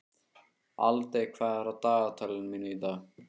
Aldey, hvað er á dagatalinu mínu í dag?